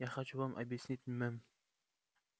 я хочу вам объяснить мэм